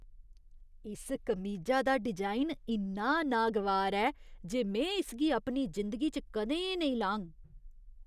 इस कमीजा दा डिजाइन इन्ना नागवार ऐ जे में इसगी अपनी जिंदगी च कदें नेईं लाङ।